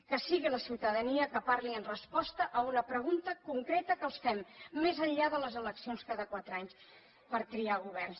que sigui la ciutadania que parli en resposta a una pregunta concreta que els fem més enllà de les eleccions cada quatre anys per triar governs